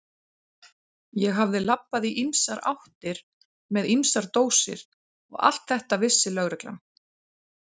Ég hafði labbað í ýmsar áttir með ýmsar dósir og allt þetta vissi lögreglan.